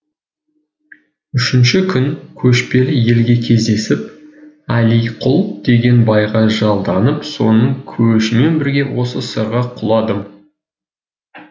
үшінші күн көшпелі елге кездесіп әлиқұл деген байға жалданып соның көшімен бірге осы сырға құладым